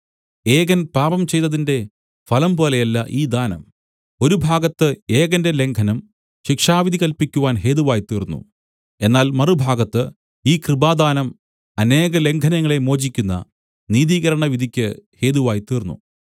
ഏകൻ പാപം ചെയ്തതിന്റെ ഫലം പോലെയല്ല ഈ ദാനം ഒരു ഭാഗത്ത് ഏകന്റെ ലംഘനം ശിക്ഷാവിധി കല്പിക്കുവാൻ ഹേതുവായിത്തീർന്നു എന്നാൽ മറുഭാഗത്ത് ഈ കൃപാദാനം അനേക ലംഘനങ്ങളെ മോചിക്കുന്ന നീതീകരണ വിധിക്കു ഹേതുവായിത്തീർന്നു